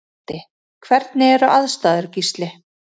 Broddi: Hvernig eru aðstæður Gísli?